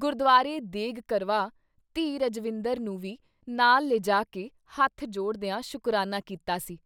ਗੁਰਦੁਆਰੇ ਦੇਗ਼ ਕਰਵਾ-ਧੀ ਰਜਵਿੰਦਰ ਨੂੰ ਵੀ ਨਾਲ ਲਿਜਾ ਕੇ ਹੱਥ ਜੋੜਦਿਆਂ ਸ਼ੁਕਰਾਨਾ ਕੀਤਾ ਸੀ।